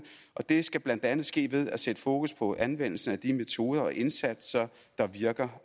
og det skal blandt andet ske ved at sætte fokus på anvendelsen af de metoder og indsatser der virker